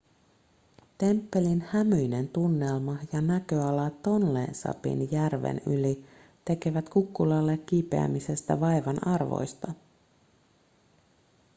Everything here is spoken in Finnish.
temppelin hämyinen tunnelma ja näköala tonle sapin järven yli tekevät kukkulalle kiipeämisestä vaivan arvoista